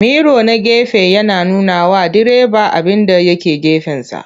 Miro na gefe yana nunawa direba abinda ya ke gefensa.